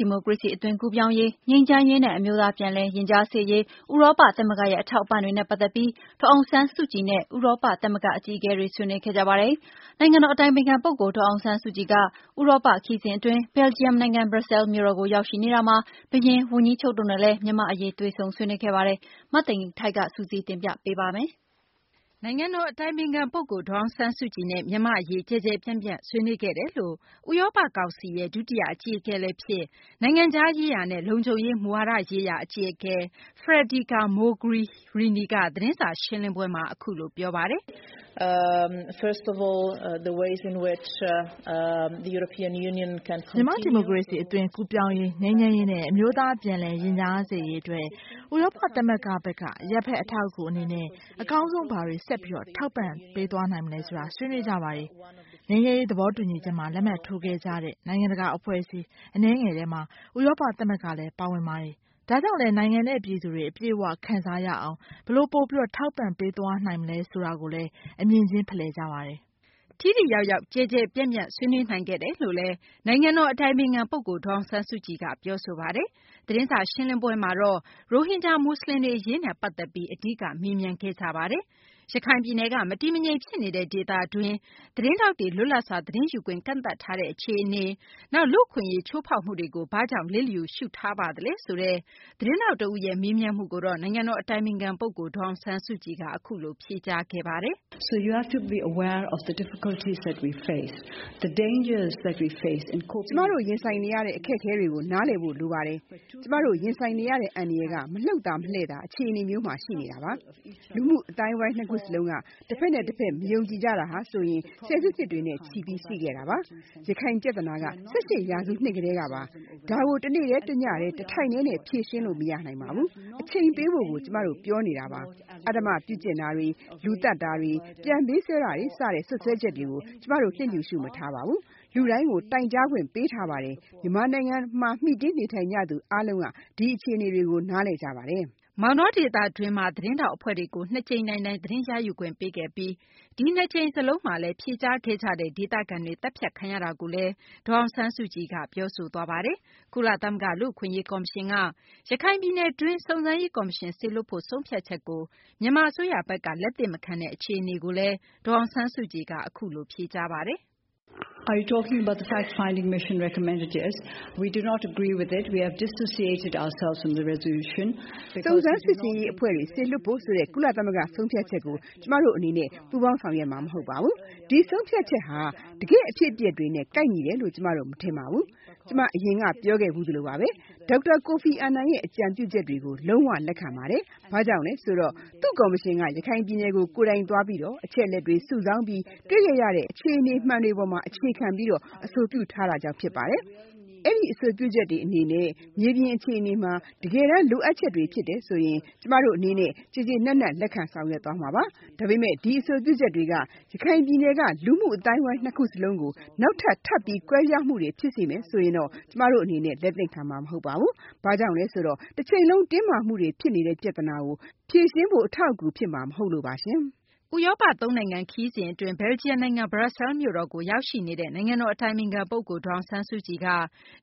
ဒီမိုကရေစီ အသွင်ကူးပြောင်းရေး၊ ငြိမ်းချမ်းရေးနဲ့ အမျိုးသား ပြန်လည်ရင်ကြားစေ့ရေး ဥရောပ သမဂ္ဂရဲ့ အထောက်အပံ့တွေနဲ့ ပတ်သက်ပြီး ဒေါ်အောင်ဆန်းစုကြည်နဲ့ ဥရောပ သမဂ္ဂ အကြီးအကဲတွေ ဆွေးနွေးခဲ့ကြပါတယ်။ နိုင်ငံတော် အတိုင်ပင်ခံ ပုဂ္ဂိုလ် ဒေါ်အောင်ဆန်းစုကြည်က ဥရောပ ခရီးစဉ် အတွင်း ဘယ်လ်ဂျီယံ နိုင်ငံ ဘရပ်ဆဲလ်မြို့တော်ကို ရောက်ရှိနေတာမှာ ဘုရင်၊ ဝန်ကြီးချုပ်တို့နဲ့လည်း မြန်မာ့ အရေး တွေ့ဆုံ ဆွေးနွေးခဲ့ပါတယ်။ မသိင်္ဂ ီထိုက် စုစည်းတင်ပြပေးမှာပါ။ နိုင်ငံတော် အတိုင်ပင်ခံ ပုဂ္ဂိုလ် ဒေါ်အောင်ဆန်းစုကြည်နဲ့ မြန်မာ့ အရေး ကျယ်ကျယ်ပြန့်ပြန့် ဆွေးနွေးခဲ့တယ်လို့ ဥရောပ ကောင်စီရဲ့ ဒုတိယ အကြီးအကဲလည်း ဖြစ် နိုင်ငံခြားရေးရာနဲ့ လုံခြုံရေး မူဝါဒရေးရာအကြီးအကဲ Federica Mogherini က သတင်းစာ ရှင်းလင်းပွဲမှာ အခုလို ပြောဆိုပါတယ်။ “ မြန်မာ့ ဒီမိုကရေစီ အသွင်ကူးပြောင်းရေး ၊ ငြိမ်းချမ်းရေးနဲ့ အမျိုးသား ပြန်လည် ရင်ကြားစေ့ရေး အတွက် ဥရောပ သမဂ္ဂဘက်က အရပ်ဘက် အထောက်အကူ အနေနဲ့ အကောင်းဆုံး ဘာတွေ ဆက်ပြီး ထောက်ပံ့ ပေးသွားနိုင်မလဲ ဆိုတာကို ဆွေးနွေးကြပါတယ်။ ငြိမ်းချမ်းရေး သဘောတူညီချက်မှာ လက်မှတ်ထိုးခဲ့ကြတဲ့ နိုင်ငံတကာ အဖွဲ့အစည်း အနည်းငယ်ထဲမှာ ဥရောပသမဂ္ဂလည်း ပါဝင်ပါတယ်။ ဒါကြောင့်လည်း နိုင်ငံနဲ့ ပြည်သူတွေ အပြည့်အ၀ ခံစားရအောင် ဘယ်လို ပိုပြီး ထောက်ပံ့ပေးသွားနိုင်မလဲ ဆိုတာကိုလည်း အမြင်ချင်း ဖလှယ်ကြပါတယ်။ ” ထိထိရောက်ရောက် ကျယ်ကျယ်ပြန့်ပြန့် ဆွေးနွေးနိုင်ခဲ့တယ်လို့လည်း နိုင်ငံတော် အတိုင်ပင်ခံ ပုဂ္ဂိုလ် ဒေါ်အောင်ဆန်းစုကြည်က ပြောဆိုပါတယ်။ သတင်းစာ ရှင်းလင်းပွဲမှာတော့ ရိုဟင်ဂျာ မူဆလင်တွေ အရေးနဲ့ ပတ်သက်ပြီး အဓိက မေးမြန်းခဲ့ကြတာပါ။ ရခိုင်ပြည်နယ်က မတည်မငြိမ် ဖြစ်နေတဲ့ ဒေသတွင်း သတင်းထောက်တွေ လွတ်လပ်စွာ သတင်းယူခွင့်ကန့်သတ်ထားတဲ့ အခြေအနေ၊ နောက် လူ့အခွင့်အရေး ချိုးဖောက်မှုတွေကိုဘာကြောင့် လစ်လျူရှုထားပါသလဲဆိုတဲ့ သတင်းထောက် တဦးရဲ့ မေးမြန်းမှုကိုတော့ နိုင်ငံတော် အတိုင်ပင်ခံ ပုဂ္ဂိုလ် ဒေါ်အောင်ဆန်းစုကြည်က အခုလို ဖြေကြားခဲ့ပါတယ်။ “ ကျမတို့ ကြုံတွေ့နေရတဲ့ အခက်အခဲတွေကို နားလည်ဖို့ လိုပါတယ်။ ကျမတို့ ရင်ဆိုင်နေရတဲ့ အန္တရာယ်က မလှုပ်သာ မလှည့်သာ အခြေအနေမျိုးရှိနေတာပါ။ လူမှု အသိုင်းအဝိုင်း နှစ်ခုလုံးက တဖက်နဲ့ တဖက် မယုံကြည်ကြတာဟာဆိုရင် ဆယ်စုနှစ်တွေနဲ့ချီပြီး ရှိခဲ့တာပါ။ ရခိုင် ပြသနာက ၁၈ ရာစုကတည်းပါ။ ဒါကို တနေ့တည်း တညတည်း တထိုင်တည်းနဲ့ ဖြေရှင်းလို့ မရပါဘူး။ အချိန်ပေးဖို့ ကျမတို့ ပြောနေတာပါ။ အဓမ္မပြုကျင့်မှုတွေ၊ လူသတ်မှုတွေ၊ ပြန်ပေးဆွဲတာတွေ စတဲ့ စွပ်စွဲချက်တွေကို ကျမတို့ လစ်လျူရှု မထားပါဘူး။ လူတိုင်းကို တိုင်ကြားခွင့် ပေးထားတာပါ။ မြန်မာနိုင်ငံမှာ နေထိုင်ကြသူတွေ အားလုံးက ဒီအခြေအနေတွေကို နားလည်ကြပါတယ်။ ” မောင်တော ဒေသတွင်းမှာ သတင်းထောက် အဖွဲ့တွေကို ၂ ကြိမ်တိုင်တိုင် သတင်းရယူခွင့် ပေးခဲ့ပြီး ဒီနှစ်ကြိမ် စလုံးမှာလည်း ဖြေကြားခဲ့ကြတဲ့ ဒေသခံတွေ သတ်ဖြတ်ခံရတာကိုလည်း ဒေါ်အောင်ဆန်းစုကြည်က ပြောဆိုသွားတာပါ။ ကုလ သမဂ္ဂ လူ့အခွင့်အရေး ကော်မရှင်က ရခိုင် ပြည်နယ်တွင်း စုံစမ်းရေး ကော်မရှင် စေလွှတ်ဖို့ ဆုံးဖြတ်ချက်ကို မြန်မာ အစိုးရဘက်က လက်သင့်မခံတဲ့ အခြေအနေကိုလည်း ဒေါ်အောင်ဆန်းစုကြည်က အခုလို ဖြေကြားခဲ့ပါတယ်။ “ စုံစမ်းရေး အဖွဲ့ စေလွှွတ်ဖို့ဆိုတဲ့ ကုလ ဆုံးဖြတ်ချက်ကို ကျမတို့ အနေနဲ့ ပူးပေါင်းဆောင်ရွက်မှာ မဟုတ်ပါဘူး။ ဒီဆုံးဖြတ်ချက်က တကယ့် အဖြစ်အပျက်တွေနဲ့ ကိုက်ညီတယ်လို့ ကျမတို့ မထင်ပါဘူး။ ကျမ အရင်က ပြောခဲ့သလိုပါဘဲ။ ဒေါက်တာ အာနန်ရဲ့ အကြံပြုချက်တွေကို လုံး၀ လက်ခံပါတယ်။ဘာကြောင့်လဲ ဆိုတော့ သူ့ကော်မရှင်က ရခိုင်ပြည်နယ်ကို ကိုယ်တိုင်သွားပြီး အချက်အလက် စုဆောင်းပြီး တွေ့ခဲ့ရတဲ့ အခြေအနေမှန်တွေ အပေါ် အခြေခံပြီး အဆိုပြုတာကြောင့်ပါ။ အဆိုပြုချက်တွေ အနေနဲ့ မြေပြင် အခြေအနေမှာ တကယ်တန်း လိုအပ်ချက်တွေ ဖြစ်တယ်ဆိုရင် ကျမတို့ အနေနဲ့ ကျေကျေနပ်နပ် လက်ခံ ဆောင်ရွက်မှာပါ။ ဒါပေမယ့် ဒီအဆိုပြုချက်တွေက ရခိုင်ပြည်နယ်က လူမှု အသိုင်းအဝိုင်း ၂ ခုကို နောက်ထပ် ကွဲပြားမှုတွေ ဖြစ်စေမယ်ဆိုရင်တော့ ကျမတို့ အနေနဲ့ လက်သင့်ခံမှာ မဟုတ်ပါဘူး။ ဘာကြောင့်လဲဆိုတော့ တချိန်လုံး တင်းမာမှုတွေ ဖြစ်နေတဲ့ ပြသနာကို ဖြေရှင်းဖို့ အထောက်အကူ ဖြစ်မှာ မဟုတ်လို့ပါ။ ” ဥရောပ သုံးနိုင်ငံ ခရီးစဉ်အတွင်း ဘယ်လ်ဂျီယံ နိုင်ငံ ဘရပ်ဆဲလ်မြို့တော်ကို ရောက်ရှိနေတဲ့ နိုင်ငံတော် အတိုင်ပင်ခံ ပုဂ္ဂိုလ် ဒေါ်အောင်ဆန်းစုကြည်က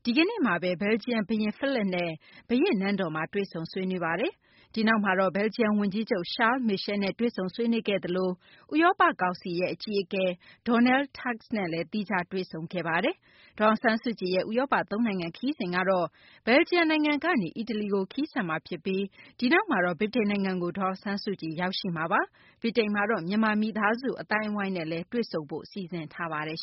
ဒီကနေ့မှာ ဘယ်လ်ဂျီယံ ဘုရင် Phillippe နဲ့ ဘုရင့် နန်းတော်မှာ တွေ့ဆုံဆွေးနွေးပါတယ်။ ဒီနောက်မှာတော့ ဘယ်လ်ဂျီယံ ဝန်ကြီးချုပ် Charles Michel နဲ့ တွေ့ဆုံ ဆွေးနွေးခဲ့သလို ဥရောပ ကောင်စီ အကြီးအကဲ Donald Tusk နဲ့ သီးခြားတွေ့ဆုံ ခဲ့တာပါ။ ဒေါ်အောင်ဆန်းစုကြည်ရဲ့ ဥရောပ သုံးနိုင်ငံ ခရီးစဉ်ကတော့ ဘယ်လ်ဂျီယံ နိုင်ငံကနေ အီတလီကို ခရီးဆက်မှာ ဖြစ်ပြီး ဒီနောက်မှာတော့ ဗြိတိန်နိုင်ငံကို ဒေါ်အောင်ဆန်းစုကြည် ရောက်ရှိမှာပါ။ ဗြိတိန်မှာတော့ မြန်မာ မိသားစု အသိုင်းအဝိုင်းနဲ့ တွေ့ဆုံဖို့လည်း စီစဉ်ထားပါတယ်